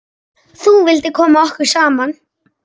Þú vildir koma okkur saman.